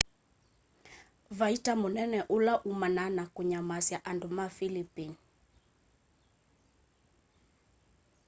vaita mũnene ũla umanaa na kũnyamasya andũ ma philipine